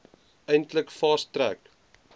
eintlik fast track